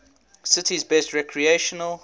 city's best recreational